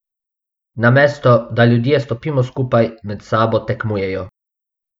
Namesto, da ljudje stopimo skupaj, med sabo tekmujejo.